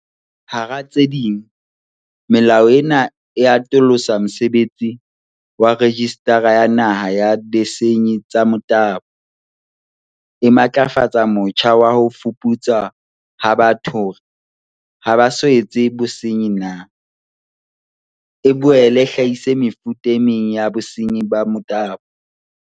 Hara tse ding, melao ena e atolosa mosebetsi wa Rejistara ya Naha ya Disenyi tsa Motabo, e matlafatse motjha wa ho fuputswa ha batho hore ha ba so etse bosenyi na, e boele e hlahise mefuta e meng ya bosenyi ba motabo.